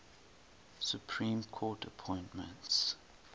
supreme court appointments